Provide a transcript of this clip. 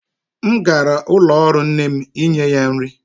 M gara ụlọ ọrụ nne m inye ya nri.